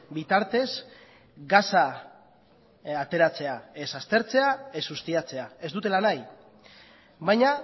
bitartez gasa ateratzea ez aztertzea ez ustiatzea ez dutela nahi baina